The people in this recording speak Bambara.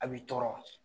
A b'i tɔɔrɔ